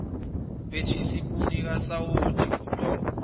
wethisipuni kasawoti kugoqoze